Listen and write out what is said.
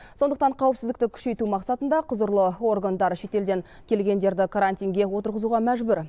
сондықтан қауіпсіздікті күшейту мақсатында құзырлы органдар шетелден келгендерді карантинге отырғызуға мәжбүр